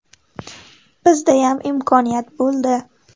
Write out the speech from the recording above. Bizdayam imkoniyat bo‘ldi.